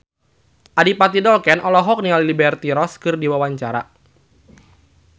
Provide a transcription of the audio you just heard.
Adipati Dolken olohok ningali Liberty Ross keur diwawancara